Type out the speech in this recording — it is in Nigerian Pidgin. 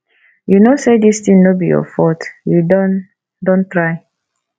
you no say dis thing no be your fault you don don try